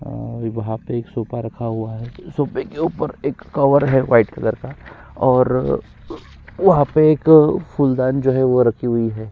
और वहाँ पर एक सोफा रखा हुआ है सोफे के ऊपर एक कवर है वाइट कलर का और वहाँ पर एक फूलदान जो है वो रखी हुई है।